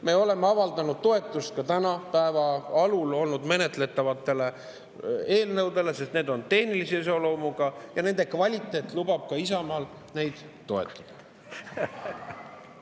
Me oleme avaldanud toetust ka tänase päeva alul olnud menetletavatele eelnõudele, sest need on tehnilise iseloomuga ja nende kvaliteet lubab ka Isamaal neid toetada.